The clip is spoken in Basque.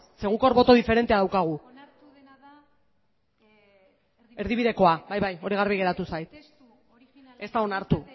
zeren guk hor boto diferentea daukagu onartu dena da erdibidekoa erdibidekoa bai bai hori garbi geratu zait ez da onartu